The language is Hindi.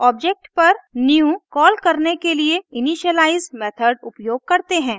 ऑब्जेक्ट पर न्यू new कॉल करने के लिए इनिशियलाइज़ initialize मेथड उपयोग करते हैं